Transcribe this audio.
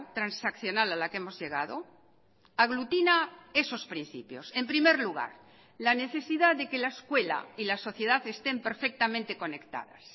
transaccional a la que hemos llegado aglutina esos principios en primer lugar la necesidad de que la escuela y la sociedad estén perfectamente conectadas